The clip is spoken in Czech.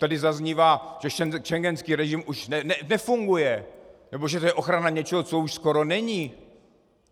Tady zaznívá, že schengenský režim už nefunguje nebo že to je ochrana něčeho, co už skoro není.